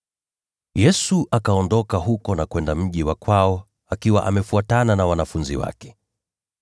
Yesu akaondoka huko na kwenda mji wa kwao, akiwa amefuatana na wanafunzi wake.